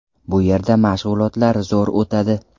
Bu yerda mashg‘ulotlar zo‘r o‘tadi.